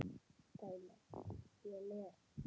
dæmi: Ég les.